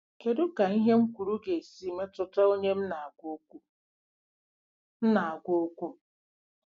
Kedu ka ihe m kwuru ga-esi emetụta onye m na-agwa okwu? m na-agwa okwu? '